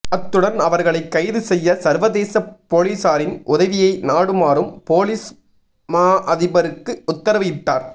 அத்துடன் அவர்களை கைது செய்ய சர்வதேச பொலிசாரின் உதவியை நாடுமாறும் பொலிஸ் மா அதிபருக்கு உத்தரவு இட்டார்